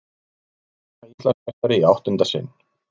Ragna Íslandsmeistari í áttunda sinn